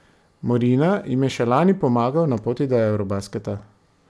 Morina jim je še lani pomagal na poti do eurobasketa.